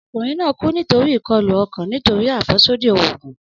Ọkunrin naa ku nitori ikọlu ọkan nitori afẹsodi oogun.